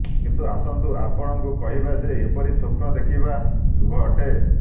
କିନ୍ତୁ ଆସନ୍ତୁ ଆପଣଙ୍କୁ କହିବା ଯେ ଏହିପରି ସ୍ୱପ୍ନ ଦେଖିବା ଶୁଭ ଅଟେ